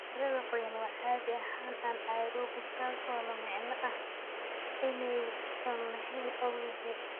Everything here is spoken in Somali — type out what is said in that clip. Carrada qoyan waa caadi ahaan anaerobic, taasoo la micno ah inaysan lahayn ogsijiin.